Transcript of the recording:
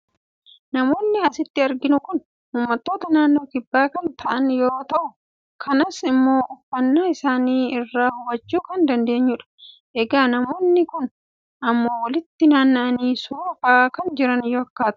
namoonni asitti arginu kun uummattoota naannoo kibbaa kan ta'an yoo ta'u kanas immoo uffannnaa isaanii irraa hubachuu kan dandeenyudha. egaa namoonni kun immoo walitti naanna'anii suuraa ka'aa kan jiran fakkaatu.